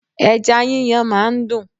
Ẹja yíyan máa ń dùn.